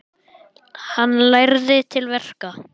Hann lærði til verka.